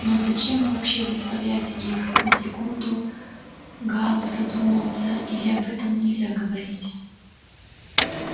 но зачем вообще заставлять их на секунду гаал задумался или об этом нельзя говорить